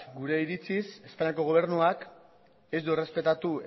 gure iritziz espainiako gobernuak ez du errespetatu